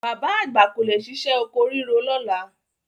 Bàbá àgbà kò lè ṣiṣẹ́ oko ríro lọ́la.